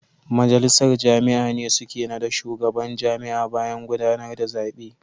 Majalisar jami'a ne suke nada shugaban jami'a bayan gudanar da zabe.